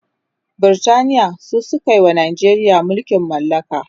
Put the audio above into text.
Britaniya su sukawa Najeriya mulkin mallaka